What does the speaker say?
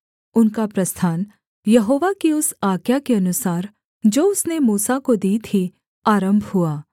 उनका प्रस्थान यहोवा की उस आज्ञा के अनुसार जो उसने मूसा को दी थी आरम्भ हुआ